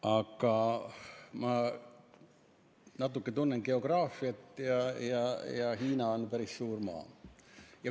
Aga ma tunnen natuke geograafiat ja tean, et Hiina on päris suur maa.